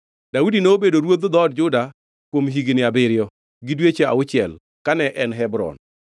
Daudi nobedo ruodh dhood Juda kuom higni abiriyo, gi dweche auchiel kane en Hebron.